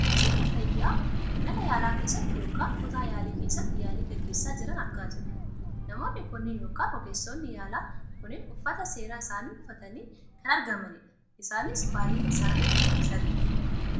Ogeessota fayyaa mana yaalaa keessatti yookaan kutaa yaalii keessatti yaalii gaggeessa jiran argaa jirra . Namoonni kunneen yookaan ogeessonni yaalaa kunneen uffata seeraa isaanii uffatanii kan argamanidha. Isaanis baayyinni isaanii sadidha.